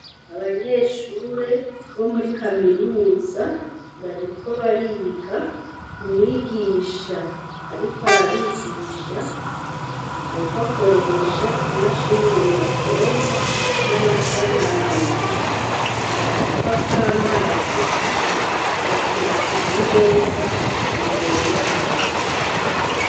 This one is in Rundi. Abanyeshure bo muri kaminuza bariko bariga; umwigisha ariko arabigisha ariko akoresha imashini nyabwonko n'amasanamu. Agacupa k'amazi gateretse ku meza imbere yabo.